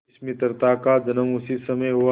इस मित्रता का जन्म उसी समय हुआ